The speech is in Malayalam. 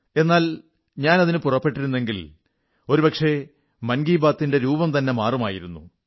എന്നാൽ ഞാൻ അതിനു പുറപ്പെട്ടിരുന്നെങ്കിൽ ഒരുപക്ഷേ മൻ കീ ബാത്തി് ന്റെ രൂപം തന്നെ മാറുമായിരുന്നു